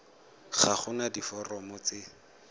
ga go na diforomo tse